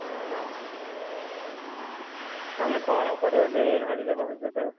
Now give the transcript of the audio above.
ହଁ ଭାଇ। ତମେ କଣ କରିବ ବୋଲି ଭାବିଛ ଭବିଷ୍ୟତରେ?